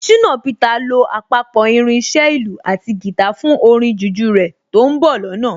Ṣìnà Peter lo àpapọ̀ irin iṣẹ́ ìlù àti guitar fún orin jùjú rẹ̀ tó ń bọ̀ lọ́nà